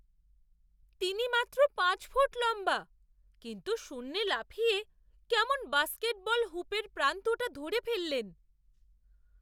তিনি মাত্র পাঁচ ফুট লম্বা, কিন্তু শূন্যে লাফিয়ে কেমন বাস্কেটবল হুপের প্রান্তটা ধরে ফেললেন!